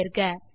ஐ தேர்க